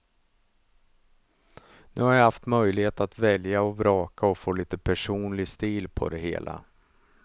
Nu har jag haft möjlighet att välja och vraka och få lite personlig stil på det hela.